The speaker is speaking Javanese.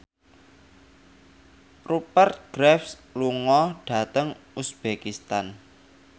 Rupert Graves lunga dhateng uzbekistan